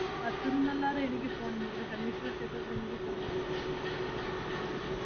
അത്തര്ന്നല്ലാതെ എനിക്ക് പോണം, അവടെ ശനീശ്വര ക്ഷേത്രത്തിൽ എനിക്ക് പോണം. ആഹ്